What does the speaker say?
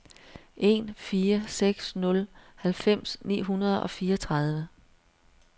en fire seks nul halvfems ni hundrede og fireogtredive